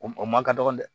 O ma ka dɔgɔn dɛ